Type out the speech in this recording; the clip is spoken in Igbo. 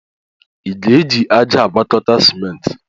Ị ga-eji ájá agwakọta simenti?